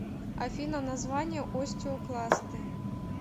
афина название остеокласты